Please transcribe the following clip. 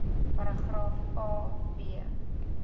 paragraaf a b